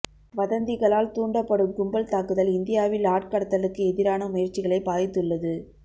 வதந்திகளால் தூண்டப்படும் கும்பல் தாக்குதல் இந்தியாவில் ஆட்கடத்தலுக்கு எதிரான முயற்சிகளை பாதித்துள்ளது